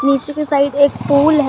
पीछे के साइड एक पुल है।